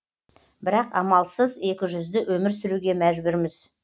бірақ амалсыз екізжүзді өмір сүруге мәжбүрміз